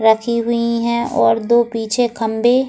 रखी हुई है और दो पीछे खम्बे --